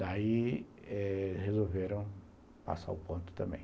Daí resolveram passar o ponto também.